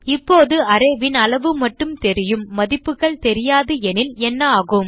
இப்போது arrayன் அளவு மட்டும் தெரியும் மதிப்புகள் தெரியாது எனில் என்னாகும்